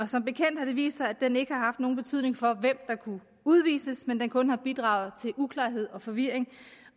som bekendt har det vist sig at den ikke har haft nogen betydning for hvem der kunne udvises men at den kun har bidraget til uklarhed og forvirring